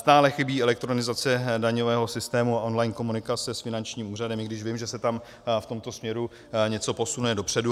Stále chybí elektronizace daňového systému on-line komunikace s finančním úřadem, i když vím, že se tam v tomto směru něco posune dopředu.